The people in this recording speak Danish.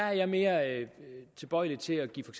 er mere tilbøjelig til at give for